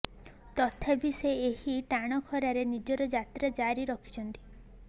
ତଥାପି ସେ ଏହି ଟାଣ ଖରାରେ ନିଜର ଯାତ୍ରା ଜାରି ରଖିଛନ୍ତି